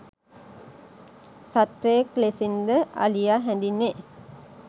සත්වයෙක් ලෙසින් ද අලියා හැඳින්වේ.